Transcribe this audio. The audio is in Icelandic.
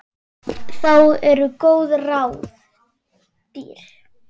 Þá eru góð ráð dýr.